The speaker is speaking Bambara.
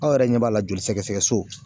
Aw yɛrɛ ɲɛ b'a la joli sɛgɛsɛgɛ so